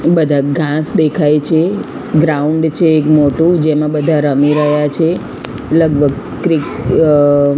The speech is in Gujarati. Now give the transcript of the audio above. બધા ઘાંસ દેખાય છે ગ્રાઉન્ડ છે એક મોટુ જેમા બધા રમી રહ્યા છે લગભગ ક્રી અ--